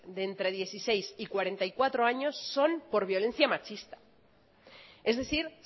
de entre dieciséis y cuarenta y cuatro años son por violencia machista es decir